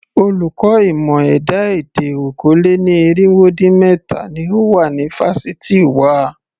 Olùkọ́ ìmọ̀ ẹ̀dá-èdè okòó-lé-ní-irínwó-dín-méta ni ó wà ní fásitì wa.